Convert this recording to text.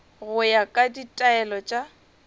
go ya ka ditaelo tša